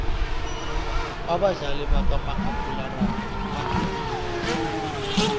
abadlali bakamakhakhulararhwe baqinile